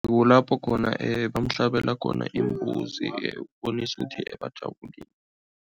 Kulapho khona bamhlabela khona imbuzi ukubonisa ukuthi bajabulile.